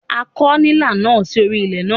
À ó kọ̀ nílà náà sí orí ilẹ̀ ná.